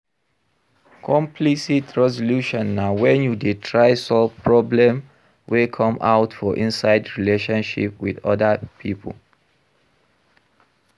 Conflcit resolution na when you dey try solve problem wey come out for inside relationship with oda pipo